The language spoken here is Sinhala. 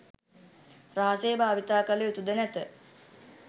රහසේ භාවිතා කළ යුතුද නැත.